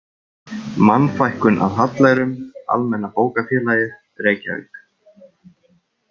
Mannfækkun af hallærum, Almenna bókafélagið, Reykjavík